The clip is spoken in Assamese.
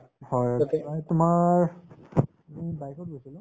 হয়, মানে তোমাৰ আমি bike ত গৈছিলো